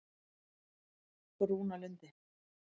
Brúnalundi